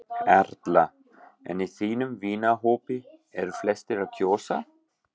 Erla: En í þínum vinahópi, eru flestir að kjósa?